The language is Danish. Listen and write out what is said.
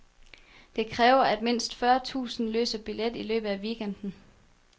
Det kræver, at mindst fyrre tusinde løser billet i løbet af weekenden.